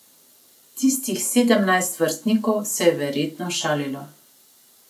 Tistih sedemnajst vrstnikov se je verjetno šalilo.